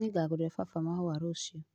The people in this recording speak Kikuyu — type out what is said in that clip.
Nĩngagũrĩra baba mahũa rũciũ